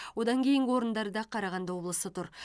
одан кейінгі орындарда қарағанды облысы тұр